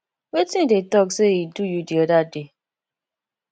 wetin you dey talk say e do you di other day